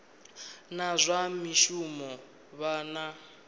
na zwa mishumo vha na